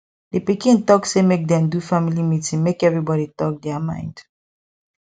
di pikin talk say make dem do family meeting make everybody talk their mind